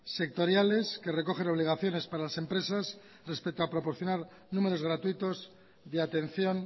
sectoriales que recogen obligaciones para las empresas respeto a proporcionar números gratuitos de atención